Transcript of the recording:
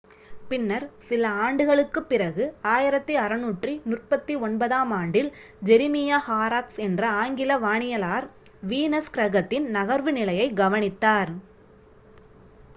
பின்னர் சில ஆண்டுகளுக்குப் பிறகு 1639-ஆம் ஆண்டில் ஜெரீமியா ஹாராக்ஸ் என்ற ஆங்கில வானியலாளர் வீனஸ் கிரகத்தின் நகர்வு நிலையைக் கவனித்தார்